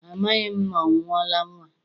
Amaghị m ma ọ mụọla nnwa.